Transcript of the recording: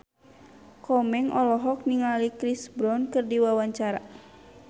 Komeng olohok ningali Chris Brown keur diwawancara